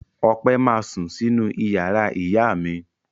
Ọpẹ́ ma sún sínú ìyàrá ìyá mi.